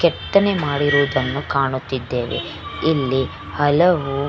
ಕೆತ್ತನೆ ಮಾಡಿರುವುದನ್ನು ಕಾಣುತ್ತಿದ್ದೇವೆ ಇಲ್ಲಿ ಹಲವು --